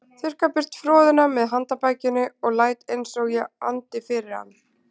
Þurrka burt froðuna með handarbakinu og læt einsog ég andi fyrir hann.